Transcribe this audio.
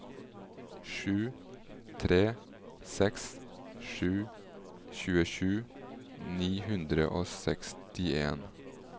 sju tre seks sju tjuesju ni hundre og sekstien